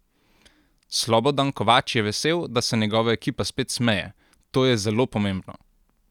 Slobodan Kovač je vesel, da se njegova ekipa spet smeje: ''To je zelo pomembno.